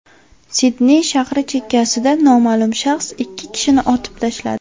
Sidney shahri chekkasida noma’lum shaxs ikki kishini otib tashladi.